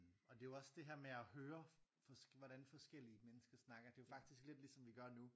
Og det er jo også det med at høre hvordan forskellige mennesker snakker det er jo faktisk lidt ligesom vi gør nu